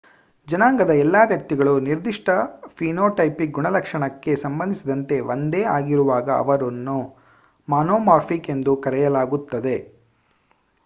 ಜನಾಂಗದ ಎಲ್ಲ ವ್ಯಕ್ತಿಗಳು ನಿರ್ದಿಷ್ಟ ಫಿನೋಟೈಪಿಕ್ ಗುಣಲಕ್ಷಣಕ್ಕೆ ಸಂಬಂಧಿಸಿದಂತೆ ಒಂದೇ ಆಗಿರುವಾಗ ಅವರನ್ನು ಮೊನೊಮಾರ್ಫಿಕ್ ಎಂದು ಕರೆಯಲಾಗುತ್ತದೆ